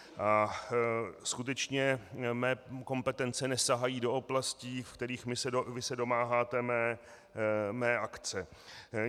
A skutečně mé kompetence nesahají do oblastí, ve kterých vy se domáháte mé akce.